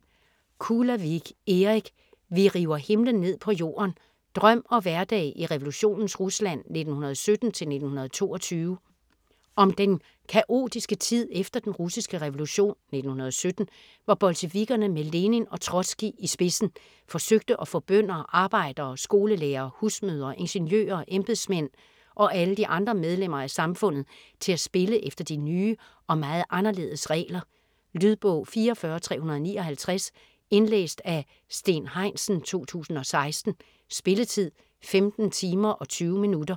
Kulavig, Erik: Vi river himlen ned på jorden: drøm og hverdag i revolutionens Rusland 1917-1922 Om den kaotiske tid efter Den russiske revolution (1917) hvor bolsjevikkerne med Lenin og Trotskij i spidsen forsøgte at få bønder, arbejdere, skolelærere, husmødre, ingeniører, embedsmænd og alle de andre medlemmer af samfundet til at spille efter de nye og meget anderledes regler. Lydbog 44359 Indlæst af Steen Heinsen, 2016. Spilletid: 15 timer, 20 minutter.